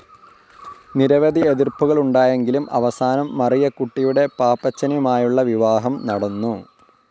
നിരവധി എതിർ‌പ്പുകളുണ്ടായെങ്കിലും അവസാനം മറിയക്കുട്ടിയുടെ പാപ്പച്ചനുമായുളള വിവാഹം നടന്നു.